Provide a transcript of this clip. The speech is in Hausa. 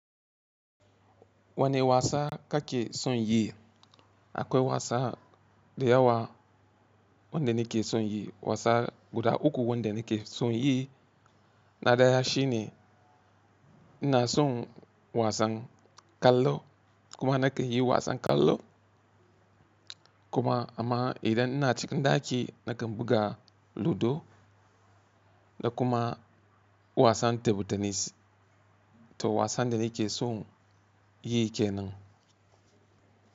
Wani wasa kake son yi? Akwai wasa da yawa wanda nake son yi. Wasa guda uku wanda nake son yi na ɗaya shi ne ina son wasan kallo kuma nake yi wasan kallo kuma amma idan ina cikin ɗaki nakan buga ludo da kuma wasan table tenis. To wasan da nake son yi kenan.